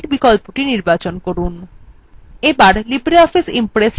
এখন libreoffice impress ট্যাবে click করুন